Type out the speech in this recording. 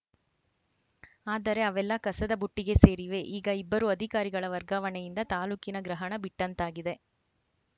ಆದರೆ ಅವೆಲ್ಲ ಕಸದಬುಟ್ಟಿಗೆ ಸೇರಿವೆ ಈಗ ಇಬ್ಬರೂ ಅಧಿಕಾರಿಗಳ ವರ್ಗಾವಣೆಯಿಂದ ತಾಲೂಕಿನ ಗ್ರಹಣ ಬಿಟ್ಟಂತಾಗಿದೆ